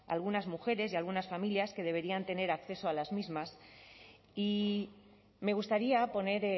a algunas mujeres y a algunas familias que deberían tener acceso a las mismas y me gustaría poner